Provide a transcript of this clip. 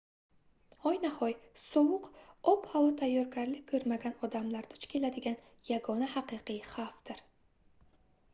hoynahoy sovuq ob-havo tayyorgarlik koʻrmagan odamlar duch keladigan yagona haqiqiy xavfdir